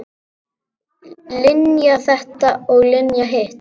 Linja þetta og Linja hitt.